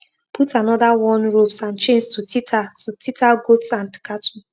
put another worn ropes and chains to tether to tether goats and cattle